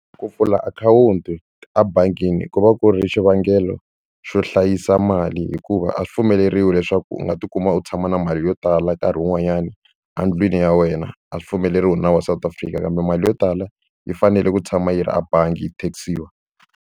Ku pfula akhawunti ebangini ku va ku ri xivangelo xo hlayisa mali hikuva a swi pfumeleriwi leswaku u nga tikuma u tshama na mali yo tala nkarhi wun'wanyani endlwini ya wena a swi pfumeleriwi hi nawu wa South Africa kambe mali yo tala yi fanele ku tshama yi ri ebangi yi tax-iwa.